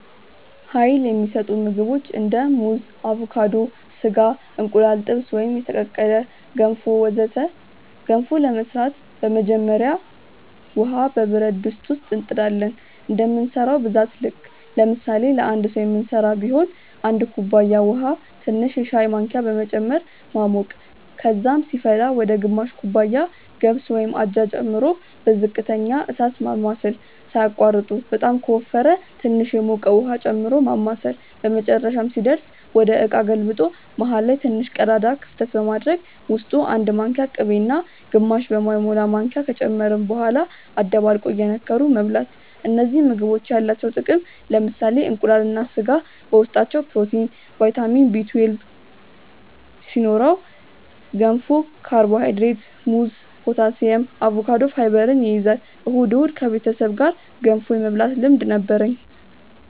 Uይል የሚሰጡ ምግቦች እንደ ሙዝ አቮካዶ፣ ስጋ፣ እንቁላል ጥብስ ወይም የተቀቀለ፣ ገንፎ ወዘተ ገንፎ ለመስራት በመጀመሪያ ውሃ በብረት ድስት እንጥ ዳለን እንደምንሰራው ብዛት ልክ ለምሳሌ ለአንድ ሰዉ ምንስራ ቢሆን 1 ኩባያ ውሃ ትንሽ የሻይ ማንኪያ በመጨመር ማሞቅ ከዛም ሲፈላ ወደ ግማሽ ኩባያ ገብስ (አጃ) ጨምሮ በዝቅተኛ እሳት ማማሰል ሳያቋርጡ በጣም ከወፈረ ትንሽ የሞቀ ውሃ ጨምሮ ማማሳል በመጨረሻም ሲደርስ ወደ እቃ ገልብጦ መሃል ላይ ትንሽ ቀዳዳ ክፍተት በማድረግ ውስጡ 1 ማንኪያ ቅቤ እና ግማሽ በማይሞላ ማንኪያ ከጨመርን በኋላ አደባልቆ እየነከሩ መብላት እነዚህ ምግቦች ያላቸው ጥቅም ለምሳሌ እንቁላል እና ስጋ በውስጣቸው ፕሮቲን፣ ቫይታሚን Bl2 ሲኖረው ገንፎ ካርቦሃይድሬት፣ ሙዝ ፖታሲየም፣ አቮካዶ ፋይበር ይይዛል። እሁድ እሁድ ከቤተሰብ ጋር ገንፎ የመብላት ልምድ ነበርኝ